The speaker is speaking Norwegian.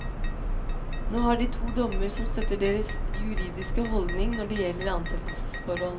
Nå har de to dommer som støtter deres juridiske holdning når det gjelder ansettelsesforhold.